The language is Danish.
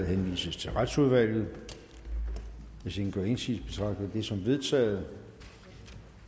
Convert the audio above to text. henvises til retsudvalget hvis ingen gør indsigelse betragter jeg det som vedtaget